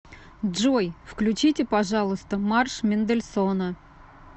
джой включите пожалуйста марш мендельсона